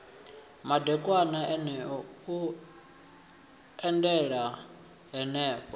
madekwana eneo u eḓela henefho